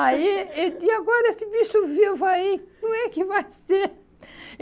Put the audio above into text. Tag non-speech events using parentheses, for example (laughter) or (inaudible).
Aí, (laughs) e e agora esse bicho vivo aí, como é que vai ser?